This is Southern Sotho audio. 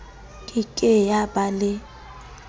ke ke ya ba le